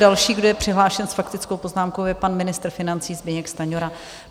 Další, kdo je přihlášen s faktickou poznámkou, je pan ministr financí Zbyněk Stanjura.